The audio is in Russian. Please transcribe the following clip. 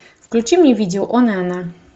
включи мне видео он и она